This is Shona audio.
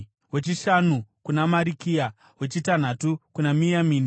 wechishanu kuna Marikia, wechitanhatu kuna Miyamini,